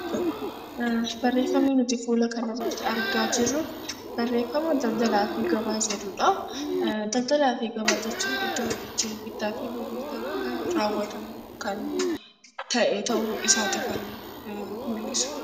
Daldalaa fi gabaa jechuun iddoo namni itti bittaa fi gurgurtaa raawwatu kan ta'e ta'uu isaa mul'isa